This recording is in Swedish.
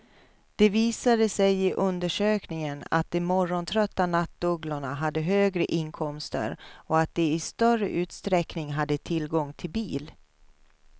Det visade sig i undersökningen att de morgontrötta nattugglorna hade högre inkomster och att de i större utsträckning hade tillgång till bil.